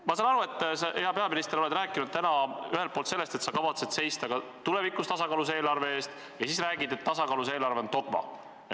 Ma saan aru, et sa, hea peaminister, oled rääkinud täna sellest, et sa kavatsed seista tulevikus tasakaalus eelarve eest, ja samas räägid, et tasakaalus eelarve on dogma.